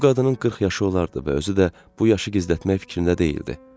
Bu qadının 40 yaşı olardı və özü də bu yaşı gizlətmək fikrində deyildi.